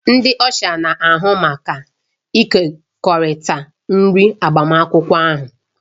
Ndị Ọsha na-ahụ maka ịkekọrịta nri agbamakwụkwọ ahụ